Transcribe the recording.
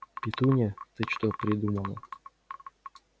петунья ты что придумала